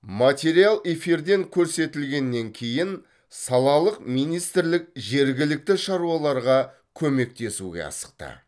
материал эфирден көрсетілгеннен кейін салалық министрлік жергілікті шаруаларға көмектесуге асықты